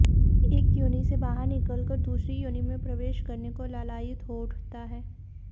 एक योनि से बाहर निकलकर दूसरी योनि में प्रवेश करने को लालायित हो उठता है